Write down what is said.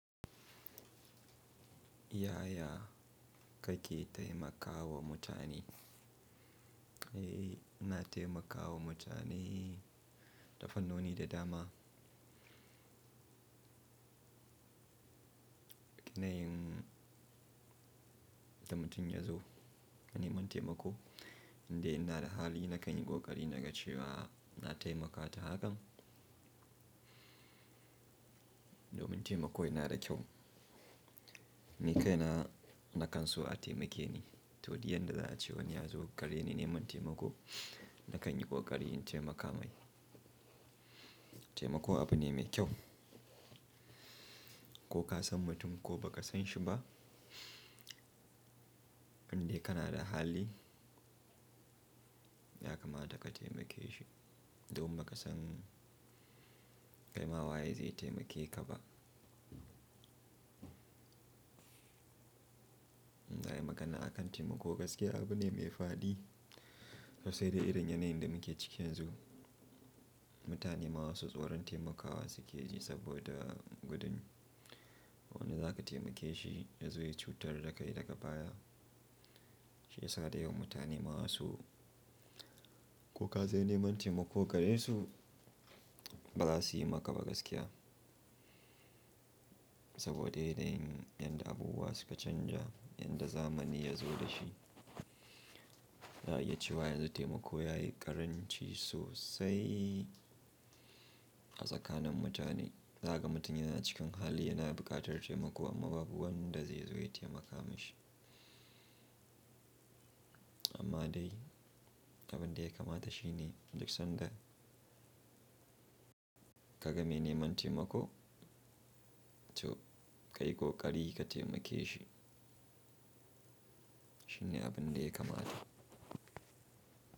Yaya ka ke taimakawa mutane? Na taimakawa mutane tafan noni da dama. Yanayin da mutum ya zo ya neman taimako, in dai ina da hali na kai ni ƙoƙari na ga cewa na taimaka ta hakan. Domin taimako yana da kyau. Ni kai na, na kan so a taimake ni, to diyan da za ace wani ya zo ƙare ni neman taimako, na kai ni ƙoƙari in taimaka mai. Taimako abu ne mai kyau. Ko ka san mutum ko ba ka san shi ba, in dai kana da hali, ya kamata ka taimake shi. Domin ba ka san kai ma waye zai taimake ka ba. In za ayi magana akan taimako gaskiya abu ne mai faɗi. Sai dai irin yanayin da muke cikin zu, mutane ma su tsoron taimakawa suke ji saboda gudun wani za ka taimake shi ya zo ya cutar da kai daga baya. Shi ya sa dayawan mutane ma wasu, ko ka zo neman taimako gare su, ba za su yi maka ba gaskiya. Saboda yana yin yanda abubuwa suka canja, yadda zamani ya zo da shi, za, a iya cewa yanzu taimako ya yi ƙaranci sosai a tsakanin mutane. Za ka ga mutum yana cikin hali, yana buƙatar taimako amma babu wanda zai zo ya taimaka mashi. Amma dai abin da ya kamata shi ne, duk sanda ka ga mai neman taimako, to kai ƙoƙari ka taimake shi. Shin ne abun da ya kamata?